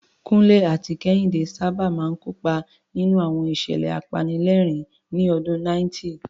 Kunle àti Kehinde sábà máa ń kópa nínú àwọn ìṣẹ̀lẹ̀ apanilẹ́rìn-ín ní ọdún 90.